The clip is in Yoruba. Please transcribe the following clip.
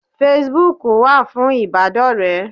Facebook wà fún ìbádọ́rẹ̀ẹ́